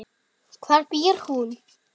Hvar býr hún?